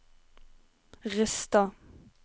Rysstad